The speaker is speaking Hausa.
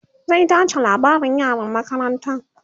zai tace labarin yaran makarantan